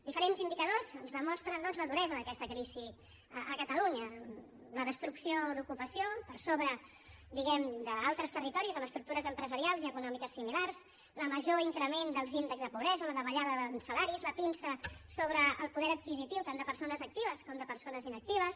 diferents indicadors ens demostren doncs la duresa d’aquesta crisi a catalunya la destrucció d’ocupació per sobre diguem ne d’altres territoris amb estructures empresarials i econòmiques similars el major increment dels índexs de pobresa la davallada de salaris la pinça sobre el poder adquisitiu tant de persones actives com de persones inactives